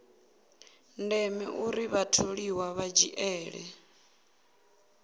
ndeme uri vhatholiwa vha dzhiele